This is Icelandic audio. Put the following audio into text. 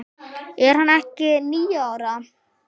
Er hann ekki níu ára?